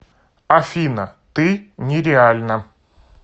афина ты нереальна